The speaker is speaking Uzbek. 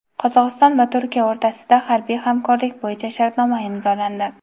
Qozog‘iston va Turkiya o‘rtasida harbiy hamkorlik bo‘yicha shartnoma imzolandi.